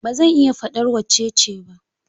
Ba zan iya faɗar wacce ce ba.